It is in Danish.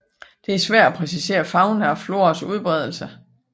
Det er svært at præcisere fauna og floras udbredelse